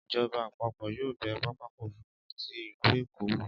ìjọba àpapọ̀ yóò bẹ pápákọ̀ òfúrufú ti ìlú Èkó wò.